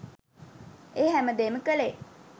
ඒ හැමදේම කළේ